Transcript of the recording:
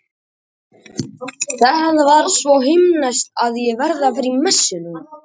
Það var svo himneskt að ég verð að fara í messu núna.